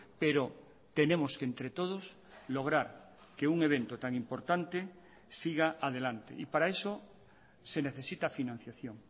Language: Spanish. pero tenemos que entre todos lograr que un evento tan importante siga adelante y para eso se necesita financiación